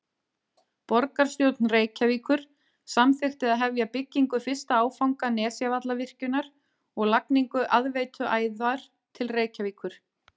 Borgarstjórn Reykjavíkur samþykkti að hefja byggingu fyrsta áfanga Nesjavallavirkjunar og lagningu aðveituæðar til Reykjavíkur.